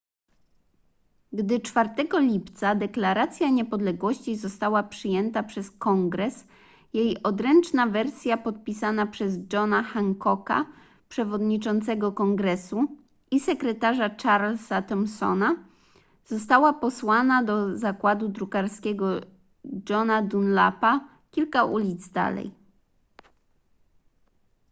gdy 4 lipca deklaracja niepodległości została przyjęta przez kongres jej odręczna wersja podpisana przez johna hancocka przewodniczącego kongresu i sekretarza charlesa thomsona została posłana do zakładu drukarskiego johna dunlapa kilka ulic dalej